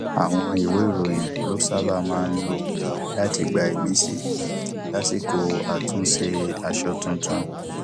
àwọn ìwé ìròyìn ló sábà máa ń lò láti gba ìmísí lásìkò àtúnṣe aṣọ tuntun